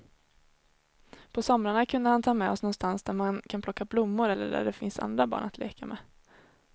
På somrarna kunde han ta med oss någonstans där man kan plocka blommor eller där det finns andra barn att leka med.